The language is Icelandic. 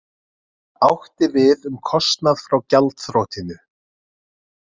Átti við um kostnað frá gjaldþrotinu